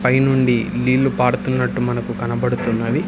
పైనుండి నీళ్లు పాడుతున్నట్టు మనకు కనబడుతున్నవి.